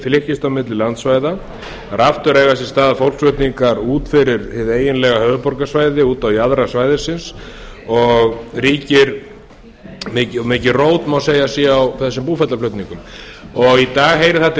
flykkist á milli landsvæða en aftur eiga sér stað fólksflutningar út fyrir hið eiginlega höfuðborgarsvæði út á jaðra svæðisins og má segja að mikið rót sé á þessum búferlaflutningum í dag heyrir það til